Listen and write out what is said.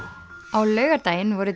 á laugardaginn voru